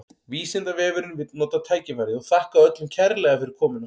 Vísindavefurinn vill nota tækifærið og þakka öllum kærlega fyrir komuna!